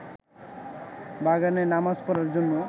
বাগানে নামাজ পড়ার জন্য